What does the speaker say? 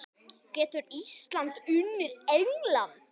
Getur Ísland unnið England?